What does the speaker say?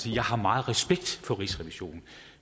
jeg har meget respekt for rigsrevisionen